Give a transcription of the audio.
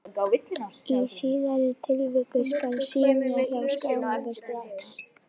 Í síðari tilvikinu skal synja um skráningu strax.